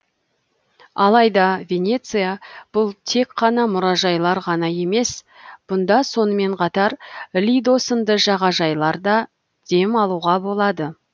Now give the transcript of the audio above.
алайда венеция бұл тек қана мұражайлар ғана емес бұнда сонымен қатар лидо сынды жағажайларда дем алуға болады